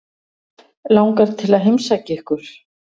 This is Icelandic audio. Langar til að heimsækja ykkur.